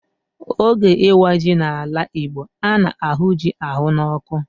Oge ịwa ji n'ala Igbo, a na-ahụ ji ahụ n'ọkụ.